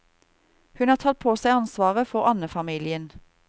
Hun har tatt på seg ansvaret for andefamilien.